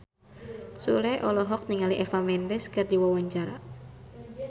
Sule olohok ningali Eva Mendes keur diwawancara